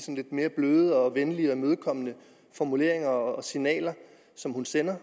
lidt mere bløde venlige og imødekommende formuleringer og signaler som hun sender